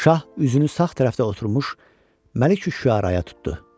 Şah üzünü sağ tərəfdə oturmuş Məlik Üşüəraya tutdu.